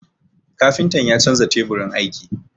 Kafintan ya canza teburin aiki.